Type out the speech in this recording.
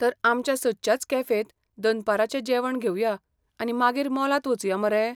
तर आमच्या सदच्याच कॅफेंत दनपाराचें जेवण घेवया आनी मागीर मॉलांत वचुया मरे?